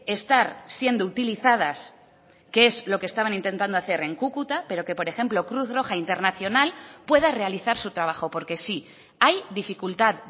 estar siendo utilizadas que es lo que estaban intentando hacer en cúcuta pero que por ejemplo cruz roja internacional pueda realizar su trabajo porque sí hay dificultad